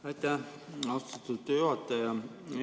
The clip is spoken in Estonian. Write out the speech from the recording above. Aitäh, austatud juhataja!